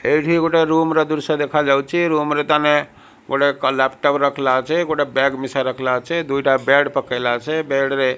ଏଇଠି ଗୋଟେ ରୁମ ର ଦୃଶ୍ୟ ଦେଖିବାକୁ ମିଳୁଛି ରୁମ ।